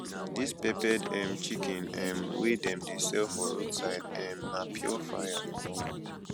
dis peppered um chicken um wey dem dey sell for roadside um na pure fire